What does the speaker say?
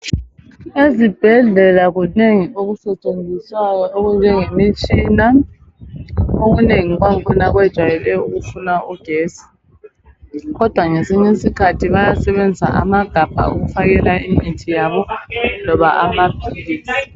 Ezibhedlela kunengi okusetshenziswayo okunje ngemitshina. Okunengi kwangikhona kujwayele ukufuna ugetsi , kodwa ngesinye isikhathi bayesebenzisa amagabha okufakela imithi yabo loba amaphilisi.